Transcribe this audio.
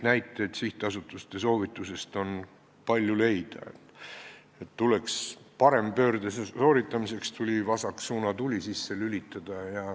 Sihtasutuse soovituste kohta on leida palju näiteid, et parempöörde sooritamiseks tuleb vasak suunatuli sisse lülitada.